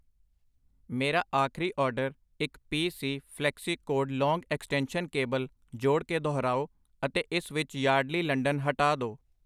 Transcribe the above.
ਮੇਰਾ ਆਖਰੀ ਆਰਡਰ ਇੱਕ P C flexicord long extension cable ਜੋੜ ਕੇ ਦੁਹਰਾਓ ਅਤੇ ਇਸ ਵਿੱਚ ਯਾਰਡਲੀ ਲੰਡਨ ਹਟਾ ਦੋ I